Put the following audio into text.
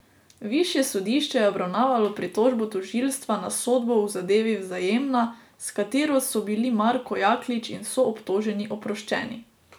Višje sodišče je obravnavalo pritožbo tožilstva na sodbo v zadevi Vzajemna, s katero so bili Marko Jaklič in soobtoženi oproščeni.